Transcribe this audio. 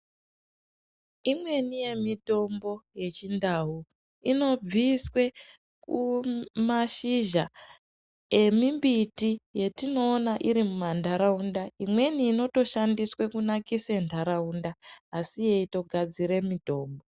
Imweni yemitombo yeChindau inobviswe mazhizha emimbiti yetinoona iri mumantaraunda imweni inotoshandiswa kunakise ntaraunda asi yeitogadzira mitombo.